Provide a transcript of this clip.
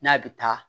N'a bɛ taa